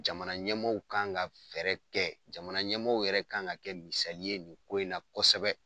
Jamana ɲɛmaaw kan ka fɛɛrɛ kɛ jamana ɲɛmaaw yɛrɛ kan ka kɛ misali ye nin ko in na kosɛbɛ.